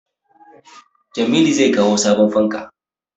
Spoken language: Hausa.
Jamilu zai kawo sabon fanka